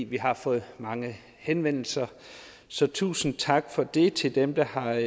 vi har fået mange henvendelser så tusind tak for det til dem der har